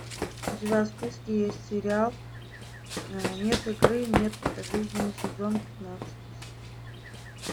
у тебя в списке есть сериал нет игры нет жизни сезон пятнадцать